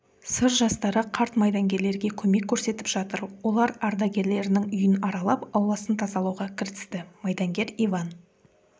сыр жастары қарт майдангерлерге көмек көрсетіп жатыр олар ардагерлерінің үйін аралап ауласын тазалауға кірісті майдангер иван